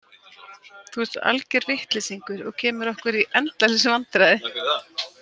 Þú ert alger vitleysingur og kemur okkur í endalaus vandræði.